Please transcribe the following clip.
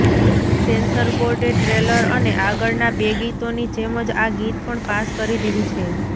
sensor બોર્ડે trailer અને આગળના બે ગીતોની જેમજ આ ગીત પણ પાસ કરી દીધુ છે